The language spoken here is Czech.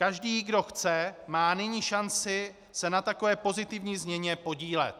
Každý, kdo chce, má nyní šanci se na takové pozitivní změně podílet.